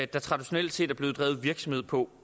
der traditionelt set er blevet drevet virksomhed på